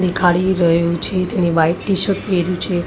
દેખાડી રહ્યો છે. તેણે વ્હાઈટ ટી-શર્ટ પહેર્યું છે.